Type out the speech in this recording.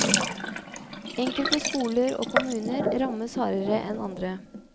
Enkelte skoler og kommuner rammes hardere enn andre.